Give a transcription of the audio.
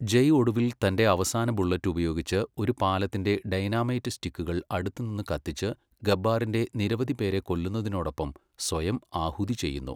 ജയ് ഒടുവിൽ തന്റെ അവസാന ബുള്ളറ്റ് ഉപയോഗിച്ച് ഒരു പാലത്തിന്റെ ഡൈനാമൈറ്റ് സ്റ്റിക്കുകൾ അടുത്തുനിന്ന് കത്തിച്ച് ഗബ്ബാറിന്റെ നിരവധി പേരെ കൊല്ലുന്നതിനോടൊപ്പം സ്വയം ആഹുതി ചെയ്യുന്നു.